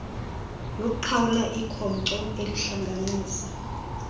yokuqhawula ikhonkco elihlanganisa